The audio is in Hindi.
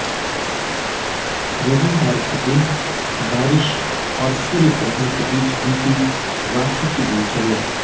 रविवार के दिन बारिश और सूर्यग्रहण के बीच बीती रांची की दिनचर्या